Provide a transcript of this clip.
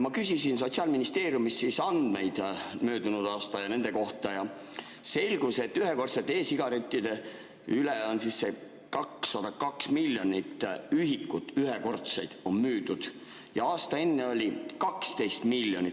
Ma küsisin Sotsiaalministeeriumist andmeid möödunud aasta ja nende kohta ning selgus, et ühekordseid e-sigarette on müüdud 202 miljonit ühikut ja aasta varem 12 miljonit.